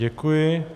Děkuji.